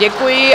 Děkuji.